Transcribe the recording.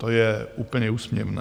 To je úplně úsměvné.